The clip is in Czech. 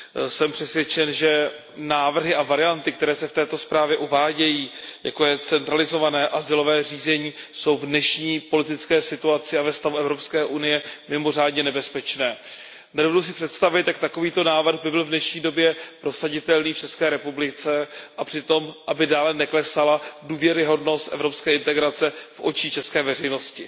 Jsem přesvědčen, že návrhy a varianty, které se v této zprávě uvádějí, jako je centralizované azylové řízení, jsou v dnešní politické situaci a ve stavu EU mimořádně nebezpečné. Nedovedu si představit, jak by takový návrh byl v dnešní době prosaditelný v ČR tak, aby přitom dále neklesala důvěryhodnost evropské integrace v očích české veřejnosti.